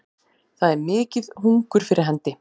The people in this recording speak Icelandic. Það er mikið hungur fyrir hendi